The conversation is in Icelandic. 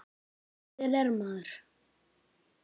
Og hver er maður?